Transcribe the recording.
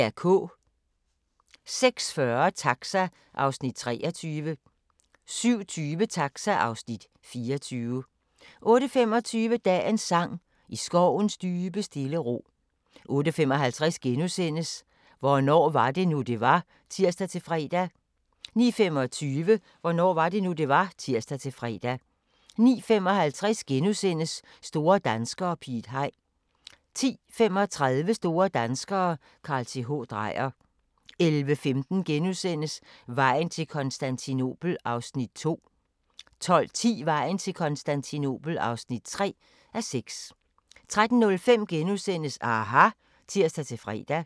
06:40: Taxa (Afs. 23) 07:20: Taxa (Afs. 24) 08:25: Dagens sang: I skovens dybe stille ro 08:55: Hvornår var det nu, det var? *(tir-fre) 09:25: Hvornår var det nu, det var? (tir-fre) 09:55: Store danskere - Piet Hein * 10:35: Store danskere - Carl Th. Dreyer 11:15: Vejen til Konstantinopel (2:6)* 12:10: Vejen til Konstantinopel (3:6) 13:05: aHA! *(tir-fre)